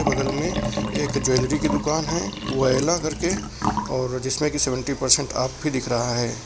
बगल में एक ज्वेलरी की दुकान है वोयला करके और जिसमें की सेवंटी परसेंट ऑफ भी दिख रहा है।